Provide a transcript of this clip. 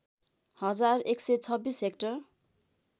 हजार १२६ हेक्टर